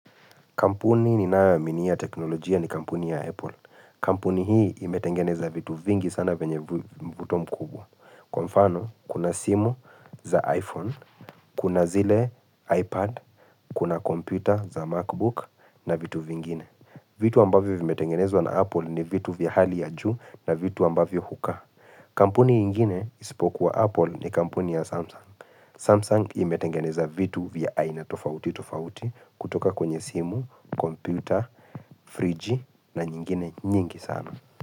Kampuni ninayoaminia ya teknolojia ni kampuni ya Apple. Kampuni hii imetengeneza vitu vingi sana vyenye mvuto mkubwa. Kwa mfano, kuna simu za iPhone, kuna zile iPad, kuna kompyuta za Macbook na vitu vingine. Vitu ambavyo vimetengenezwa na Apple ni vitu vya hali ya juu na vitu ambavyo hukaa. Kampuni ingine isipokuwa Apple ni kampuni ya Samsung. Samsung imetengeneza vitu vya aina tofauti tofauti kutoka kwenye simu, kompyuta, friji na nyingine nyingi sana.